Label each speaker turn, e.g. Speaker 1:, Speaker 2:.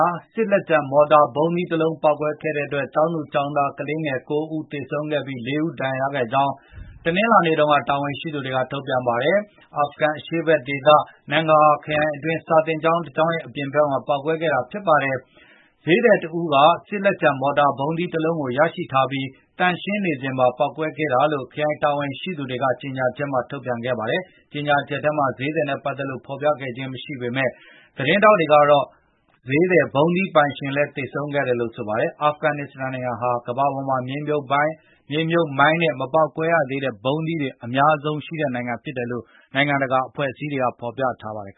Speaker 1: ာ စစ်လက်ကျန် မော်တာဗုံးသီးတလုံးပေါက်ပွဲခဲ့တဲ့အတွက် ကျောင်းသူကျောင်းသားကလေးငယ် ၉ ဦးသေဆုံးခဲ့ပြီး ၄ ဦးဒါဏ်ရာရခဲ့ကြောင်း တနင်္လာနေ့တုန်းက တာဝန်ရှိသူတွေကထုတ်ပြန်ပါတယ်။ အာဖဂန်အရှေ့ဖက်ဒေသ Nangarhar နန်ဂဟာ ခရိုင်အတွင်းက စာသင်ကျောင်း တကျောင်းရဲ့အပြင်ဘက်မှာပေါက်ကွဲခဲ့တာဖြစ်ပါတယ်။ ဈေးသည်တဦးက စစ်လက်ကျန် မော်တာဗုံးသီးတလုံးကိုရရှိထားပြီး၊ သန့်ရှင်းနေစဉ် ပေါက်ကွဲခဲ့တာလို့ ခရိုင်တာဝန်ရှိသူတွေက ကြေငြာချက်ထုတ်ပြန်ခဲ့ပါတယ်။ကြေငြာချက်ထဲမှာ ဈေးသည်နဲ့ပတ်သက်လို့ဖေါ်ပြခဲ့ခြင်းမရှိပေမယ့်။ သတင်းထောက်တွေကတော့ ဈေးသည်ဗုံးသီးပိုင်ရှင်လည်း သေဆုံးခဲ့တယ်လို့ဆို ပါတယ်။ အာဖကန်နစ္စတန်နိုင်ငံဟာကမ္ဘာပေါ်မှာ မြေမြှုပ်ဗိုင်းနဲ့ မပေါက်ကွဲရသေးတဲ့ဗုံးသီးတွေ အများဆုံးရှိတဲ့နိုင်ငံဖြစ်တယ်လို့နိုင်ငံတက
Speaker 2: ာအဖွဲ့အစည်းတွေကဖေါ်ပြထားပါတယ်